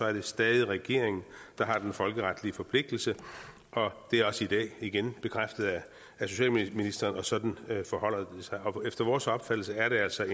er det stadig regeringen der har den folkeretlige forpligtelse det er også i dag igen bekræftet af socialministeren og sådan forholder det sig efter vores opfattelse er det altså